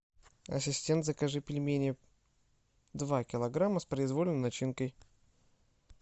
ассистент закажи пельмени два килограмма с произвольной начинкой